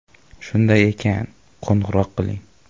Shunday ekan, qo‘ng‘iroq qiling.